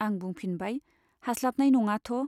आं बुंफिनबाय, हास्लाबनाय नङाथ'।